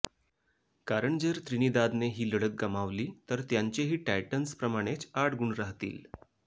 कारण जर त्रिनिदादने ही लढत गमावली तर त्यांचेही टायटन्सप्रमाणेच आठ गुण राहतील